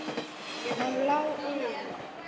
Hann lá inni!